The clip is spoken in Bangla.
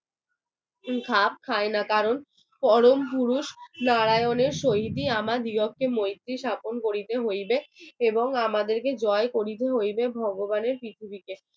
খাপ খায় না কারণ পরম পুরুষ নারায়ণের শহীদ আমার বিরুদ্ধে মৈত্রেয়ী স্থাপন করিতে হইবে এবং আমাদেরকে জয় করতে হইবে ভগবানের পৃথিবীকে